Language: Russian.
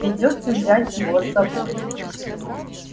придётся взять его с собой